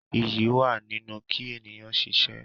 Iyì wa nínú ki ènìyàn ṣiṣẹ́.